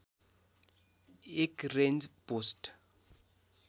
१ range post